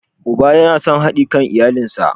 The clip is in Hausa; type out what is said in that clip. Uba yana son hadi kan iyalansa.